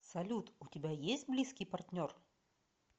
салют у тебя есть близкий партнер